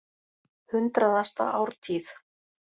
Hundraðasta ártíð.